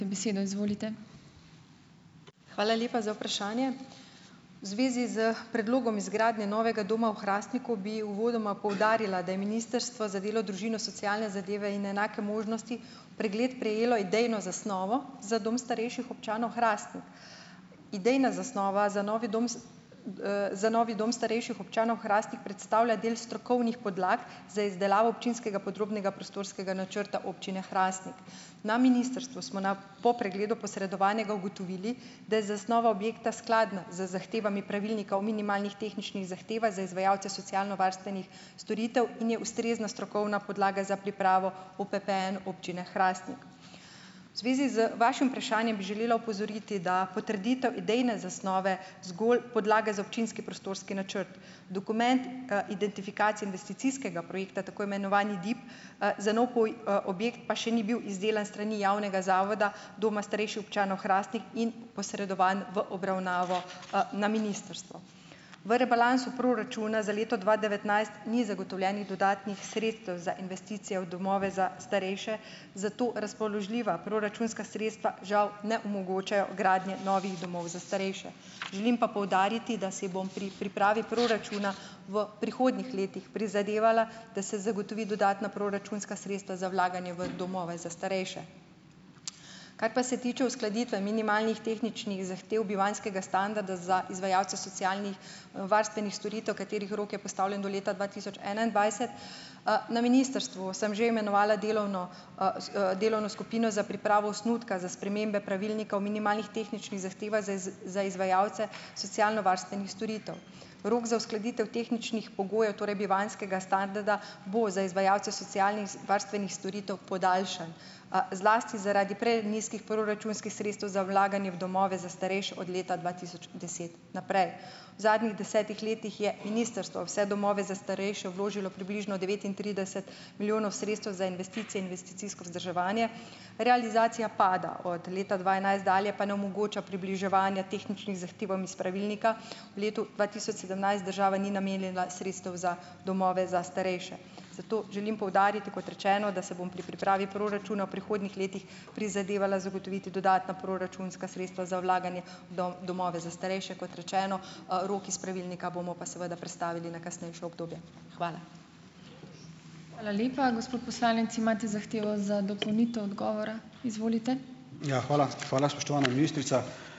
Hvala lepa za vprašanje. V zvezi s predlogom izgradnje novega doma v Hrastniku bi uvodoma poudarila, da je Ministrstvo za delo, družino, socialne zadeve in enake možnosti v pregled prejelo idejno zasnovo za dom starejših občanov Hrastnik. Ideja zasnova za novi dom z, za novi dom starejših občanov Hrastnik predstavlja del strokovnih podlag za izdelavo občinskega podrobnega prostorskega načrta občine Hrastnik. Na ministrstvu smo na po pregledu posredovanega ugotovili, da je zasnova objekta skladna z zahtevami Pravilnika o minimalnih tehničnih zahtevah za izvajalce socialnovarstvenih storitev in je ustrezna strokovna podlaga za pripravo OPPN občine Hrastnik. V zvezi z vašim vprašanjem bi želela opozoriti, da potrditev idejne zasnove zgolj podlaga za občinski prostorski načrt. Dokument, identifikacije investicijskega projekta, tako imenovani DIP, za nov poj, objekt pa še ni bil izdelan s strani javnega zavoda doma starejših občanov Hrastnik in posredovan v obravnavo, na ministrstvo. V rebalansu proračuna za leto dva devetnajst ni zagotovljenih dodatnih sredstev za investicije v domove za starejše, zato razpoložljiva proračunska sredstva žal ne omogočajo gradnje novih domov za starejše. Želim pa poudariti, da si bom pri pripravi proračuna v prihodnjih letih prizadevala, da se zagotovi dodatna proračunska sredstva za vlaganje v domove za starejše. Kaj pa se tiče uskladitve minimalnih tehničnih zahtev bivanjskega standarda za izvajalce socialnih, varstvenih storitev, katerih rok je postavljen do leta dva tisoč enaindvajset, na ministrstvu sem že imenovala delovno, s, delovno skupino za pripravo osnutka za spremembe Pravilnika o minimalnih tehničnih zahtevah za iz, za izvajalce socialnovarstvenih storitev. Rok za uskladitev tehničnih pogojev, torej bivanjskega standarda, bo za izvajalce socialnih, s varstvenih storitev podaljšan, zlasti zaradi prenizkih proračunskih sredstev za vlaganje v domove za starejše od leta dva tisoč deset naprej. V zadnjih desetih letih je ministrstvo v vse domove za starejše vložilo približno devetintrideset milijonov sredstev za investicije, investicijsko vzdrževanje. Realizacija pada, od leta dva enajst dalje pa ne omogoča približevanja tehničnih zahtevam iz pravilnika. V letu dva tisoč sedemnajst država ni namenila sredstev za domove za starejše. Zato želim poudariti, kot rečeno, da se bom pri pripravi proračuna v prihodnjih letih prizadevala zagotoviti dodatna proračunska sredstva za vlaganje v domove za starejše. Kot rečeno, rok iz pravilnika bomo pa seveda prestavili na kasnejše obdobje. Hvala.